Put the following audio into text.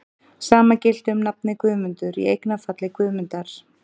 Sama gilti um nafnið Guðmundur, í eignarfalli Guðmundar.